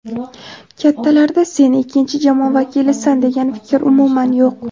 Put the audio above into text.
Kattalarda sen ikkinchi jamoa vakilisan degan fikr umuman yo‘q.